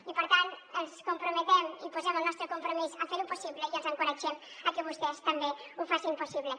i per tant ens comprometem i posem el nostre compromís a ferho possible i els encoratgem a que vostès també ho facin possible